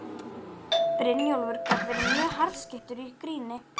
Brynjólfur gat verið mjög harðskeyttur í gríni.